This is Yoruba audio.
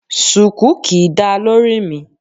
Sùkú kì í dáa lórí mi